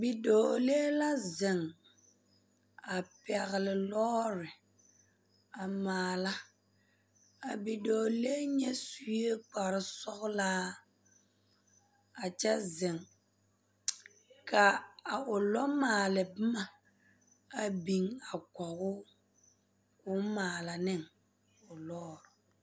Bidɔɔlee la zeŋ a pɛgle lɔɔre a maala a bidɔɔlee nya sue kparesɔglaa a kyɛ zeŋ ka a o lɔmaale boma a biŋ a kɔge o k'o maala ne lɔɔre.